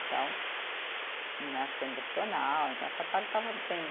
Então né, acho que emocional, então essa parte estava bem